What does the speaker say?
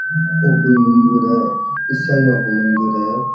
ऊपर मंदिर है ईसाइयों का मंदिर है।